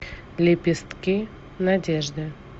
лепестки надежды